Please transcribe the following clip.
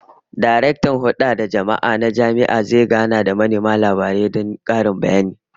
Daraktan Hulda da Jama'a na jami'a zai gana da manema labarai don karin bayani